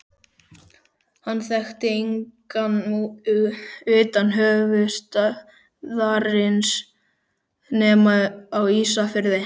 Hann þekkti engan utan höfuðstaðarins nema á Ísafirði.